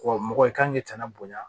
mɔgɔ i kan k'i tana bonya